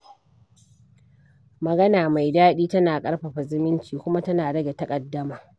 Magana mai daɗi tana ƙarfafa zumunci, kuma tana rage taƙaddama.